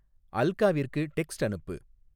அல்காவிற்கு text அனுப்பு